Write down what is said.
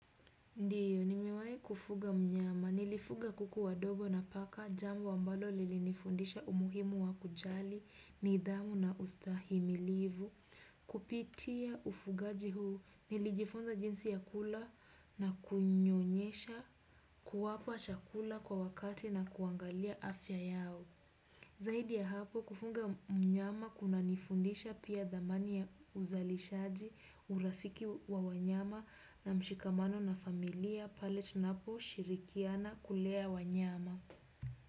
Ndiyo, nimewai kufuga mnyama. Nilifuga kuku wadogo na paka jambo ambalo lilinifundisha umuhimu wa kujali, nidhamu na ustahimilivu. Kupitia ufugaji huu, nilijifunza jinsi ya kula na kunyonyesha kuwapa chakula kwa wakati na kuangalia afya yao. Zahidi ya hapo kufunga mnyama kunanifundisha pia dhamani ya uzalishaji, urafiki wa wanyama na mshikamano na familia pale tunaposhirikiana kulea wanyama.